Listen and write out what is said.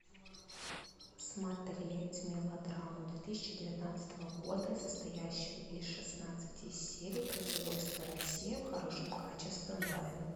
смотреть мелодраму две тысячи девятнадцатого года состоящую из шестнадцати серий производство россия в хорошем качестве онлайн